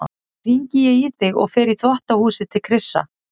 Þá hringi ég í þig og fer í þvottahúsið til Krissa.